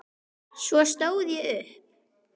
Svo stóð ég upp.